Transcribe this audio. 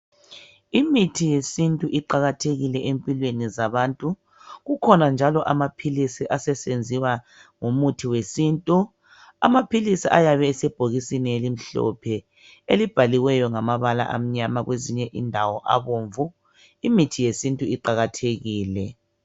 Imithi yesintu iqakathekile empilweni zabantu kukhona njalo amaphilisi aseyenziwa ngemithi yesintu amaphilisi ayabe esebhokisini elimhlophe elibhalwe ngamabala amnyama kwezinye indawo ngabomvu imithi yesintu iqakathekile